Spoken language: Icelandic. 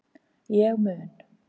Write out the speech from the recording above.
Ég mun